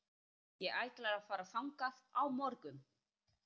Ég ætla að fara þangað á morgun.